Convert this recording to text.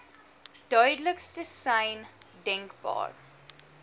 duidelikste sein denkbaar